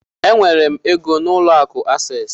Enwere m égo n'ụlọ akụ Access.